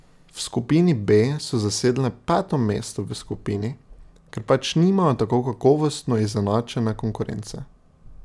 V skupini B so zasedle peto mesto v skupini, ker pač nimajo tako kakovostno izenačene konkurence.